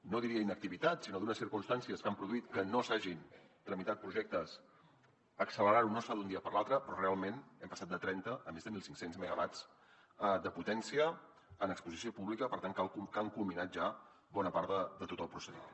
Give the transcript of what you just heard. no diria inactivitat sinó d’unes circumstàncies que han produït que no s’hagin tramitat projectes accelerar ho no es fa d’un dia per l’altre però realment hem passat de trenta a més de mil cinc cents megawatts de potència en exposició pública per tant que han culminat ja bona part de tot el procediment